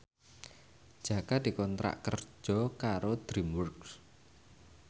Jaka dikontrak kerja karo DreamWorks